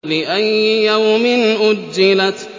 لِأَيِّ يَوْمٍ أُجِّلَتْ